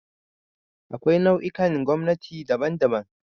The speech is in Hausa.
Akwai nau'ikan gwamnati daban-daban